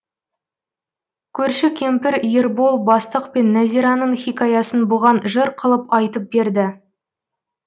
көрші кемпір ербол бастық пен нәзираның хикаясын бұған жыр қылып айтып берді